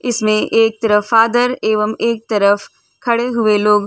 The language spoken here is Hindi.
इसमें एक तरफ फ़ादर एवं एक तरफ खड़े हुए लोग --